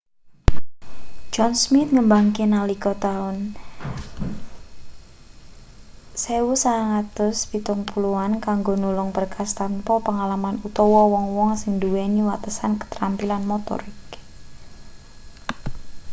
john smith ngembangke nalika taun 1970an kanggo nulung berkas tanpa pengalaman utawa wong-wong sing nduweni watesan katrampilan motorik